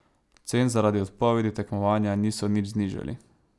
Cen zaradi odpovedi tekmovanja niso nič znižali.